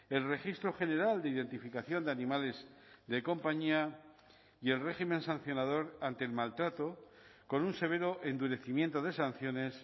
el registro general de identificación de animales de compañía y el régimen sancionador ante el maltrato con un severo endurecimiento de sanciones